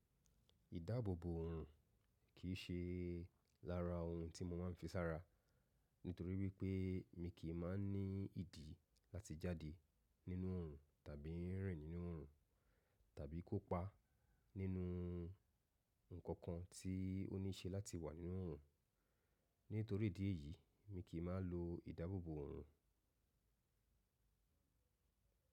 Ìdábòbò òòrùn kì í ṣe lára ohun tí mo máa ń fi sára, nítorí wípé mi kì í máa ń ní ìdí láti jáde nínú òòrùn, tàbí rìn nínú òòrùn, tàbí kópa nínú ǹkankan tí ó níṣe láti wà nínú òòrùn. Nítorí ìdí èyí, mi kì í máa ń lo ìdábòbò òòrùn.